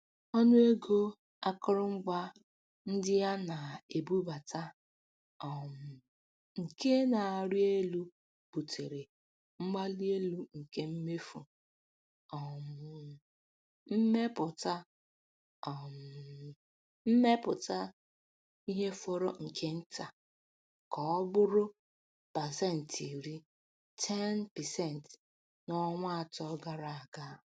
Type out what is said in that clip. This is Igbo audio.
Ọnụ ego akụrụngwa ndị ana-ebubata um nke na-arị elu butere mgbalielu nke mmefu um mmepụta um mmepụta ihe fọrọ nke nta ka ọ bụrụ pasentị iri (10%) n'ọnwa atọ gara aga.